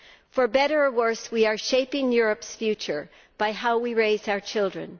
For better or for worse, we are shaping Europe's future by how we raise our children.